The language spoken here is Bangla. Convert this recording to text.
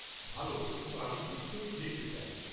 ভাল, কিন্তু আমি বিশ্বকেই দেখতে চাই।